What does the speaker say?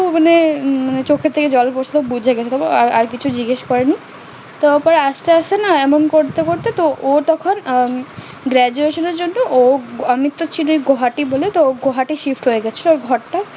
মানে চোখের থেকে জল পড়ছে বুঝে গেছে তাই আর কিছু জিজ্ঞাস করেনি তারপর আসতে আসতে না এমন করতে করতে তো ও তখন graduation এর জন্য গোয়াহাটি বলে গোয়াহাটি shift হয়ে গেছিলো ঘরটায়